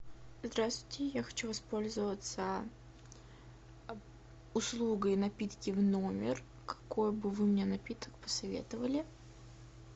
здравствуйте я хочу воспользоваться услугой напитки в номер какой бы вы мне напиток посоветовали